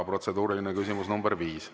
Protseduuriline küsimus nr 5.